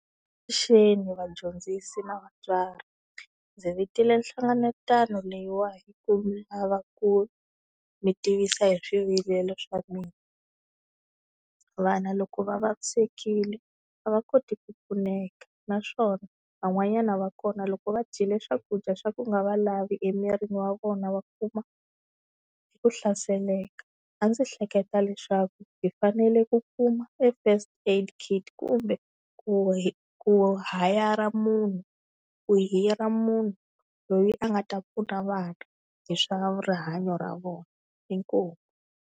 Avuxeni vadyondzisi na vatswari. Ndzi vitile hlengelatano leyiwa hi ku ni lava ku mi tivisa hi swivilelo swa mina. Vana loko va vavisekile a va koti ku pfuneka naswona van'wanyana va kona loko va dyile swakudya swa ku nga va lavi emirini wa vona va kuma ku hlaseleka. A ndzi hleketa leswaku hi fanele ku kuma e First Aid Kit kumbe ku hi ku hayara munhu ku hira munhu loyi a nga ta pfuna vana hi swa rihanyo ra vona inkomu.